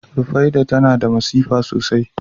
Rufaiɗah tana da masifa sosai